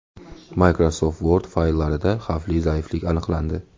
Microsoft Word fayllarida xavfli zaiflik aniqlandi.